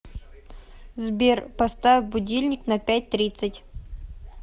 сбер поставь будильник на пять тридцать